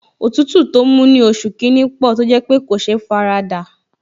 Òtútù tó mú ní oṣù kìíní pò tó jẹ́ pé kò sé faradà